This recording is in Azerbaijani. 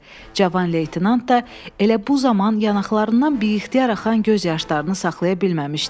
Cavan leytenant da elə bu zaman yanaqlarından biixtiyar axan göz yaşlarını saxlaya bilməmişdi.